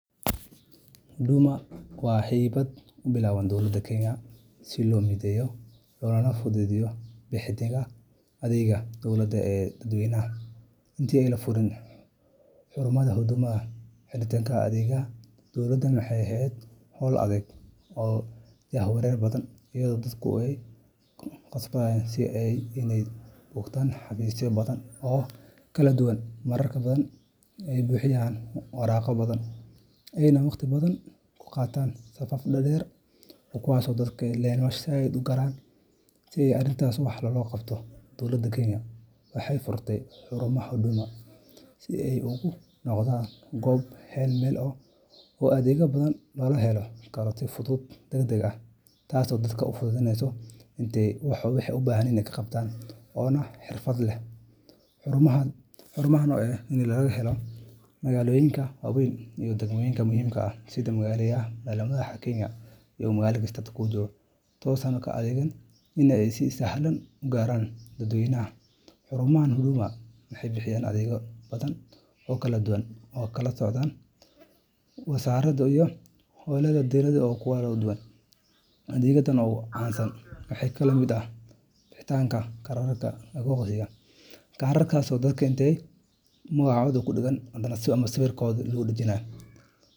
Huduma Centre waa hay’ad uu bilaabay dowladda Kenya si loo mideeyo loona fududeeyo bixinta adeegyada dowladda ee dadweynaha. Intii aan la furin xarumaha Huduma, helitaanka adeegyada dowladda waxay ahayd hawl adag oo jahwareer badan, iyadoo dadku ay khasab ku ahayd inay booqdaan xafiisyo badan oo kala duwan, marar badan ay buuxiyaan waraaqo badan, ayna waqti badan ku qaataan safaf dhaadheer. Si arrintaas wax looga qabto, dowladda Kenya waxay furtay xarumaha Huduma si ay ugu noqdaan goob hal-meel ah oo adeegyo badan laga heli karo, si fudud, degdeg ah, oo xirfad leh. Xarumahan waxaa laga helaa magaalooyinka waaweyn iyo degmooyinka muhiimka ah, taasoo ka dhigaysa inay si sahlan u gaaraan dadweynaha. Xarumaha Huduma waxay bixiyaan adeegyo badan oo kala duwan oo ka kala socda wasaarado iyo hay’ado dowladeed oo kala duwan. Adeegyada ugu caansan waxaa ka mid ah bixinta kaararka aqoonsiga oo magacoda kudagan ama sawirkoda lagu dajinayo.